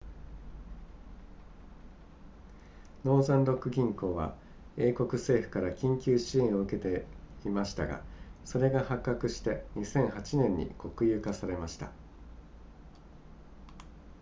ノーザンロック銀行は英国政府から緊急支援を受けていましたがそれが発覚して2008年に国有化されました